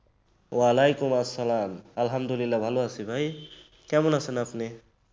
ওয়ালাইকুম সালাম আলহামদুলিল্লাহ ভালো আছি ভাই। কেমন আছেন আপনি?